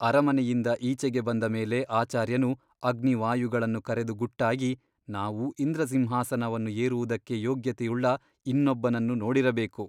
ಅರಮನೆಯಿಂದ ಈಚೆಗೆ ಬಂದ ಮೇಲೆ ಆಚಾರ್ಯನು ಅಗ್ನಿವಾಯುಗಳನ್ನು ಕರೆದು ಗುಟ್ಟಾಗಿ ನಾವು ಇಂದ್ರಸಿಂಹಾಸನವನ್ನು ಏರುವುದಕ್ಕೆ ಯೋಗ್ಯತೆಯುಳ್ಳ ಇನ್ನೊಬ್ಬನನ್ನು ನೋಡಿರಬೇಕು.